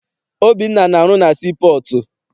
Obinna na-arụ na sii pọọtụ.